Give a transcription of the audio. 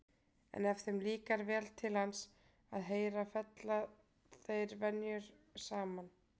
En ef þeim líkar vel til hans að heyra fella þeir frenjur saman.